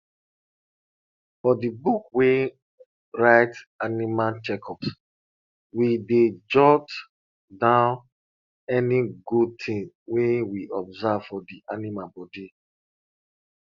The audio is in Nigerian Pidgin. for di book wey write animal checkups we dey jot down any good tins wey we observe for di animal body